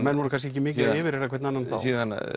menn voru kannski ekki mikið að yfirheyra hvern annan þá síðan